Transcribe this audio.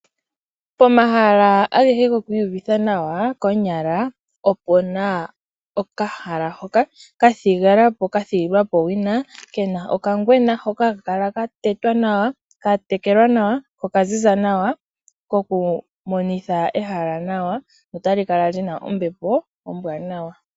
Pomahala agehe guku iyuvitha nawa konyala opena okahala hoka kathigwapo ka thigilwapo owina Kena okangwena hoka haka kala katetwa nawa tekelwa nawa ko oka ziza nawa kokumonitha ehala nawa notali kala lina ombepo ombwaanawa.